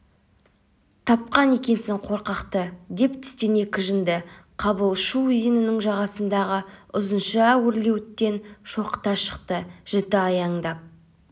тапқан екенсің қорқақты деп тістене кіжінді қабыл шу өзенінің жағасындағы ұзынша өрлеуіттен шоқыта шықты жіті аяңдап